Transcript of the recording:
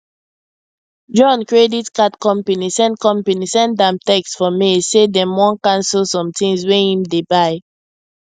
john credit card company send company send am text for mail say dem wan cancel some things wey him dey buy